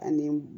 Ani